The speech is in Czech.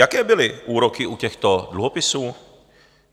Jaké byly úroky u těchto dluhopisů?